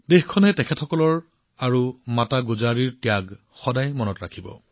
দেশবাসীয়ে চাহিবজাদা আৰু মাতা গুজৰিৰ ত্যাগক সদায় মনত ৰাখিব